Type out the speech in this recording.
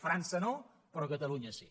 frança no però catalunya sí